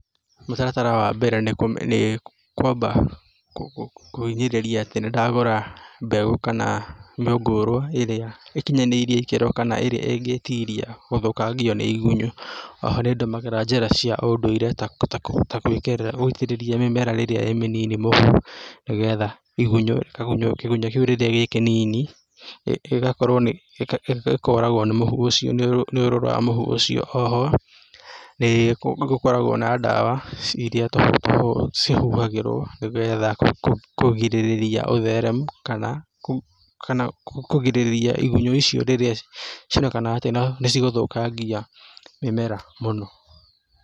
Mũtaratara wa mbere nĩ kwamba kũhinyĩrĩria atĩ nĩ ndagũra mbeũ kana mĩngũrwa ĩrĩa ĩkinyanĩirie ikĩro kana ĩrĩa ĩngĩtiria gũthũkangio nĩ igunyũ. O ho nĩ ndũmagĩra njĩra cia ũndũire ta gũitĩrĩria mĩmera rĩrĩa ĩ mĩnini mũhu nĩgetha igunyũ, kagunyũ kĩgunyũ kĩu rĩrĩa gĩ kĩnini gĩkoragwo nĩ mũhu ũcio, nĩ ũrũrũ wa mũhu ũcio. O ho nĩ gũkoragwo na dawa iria cihuhagĩrwo nĩgetha kũgirĩrĩrĩria ũtheremu kana kũgirĩrĩria igunyũ icio rĩrĩa nĩcigũthũkangia mĩmera mũno.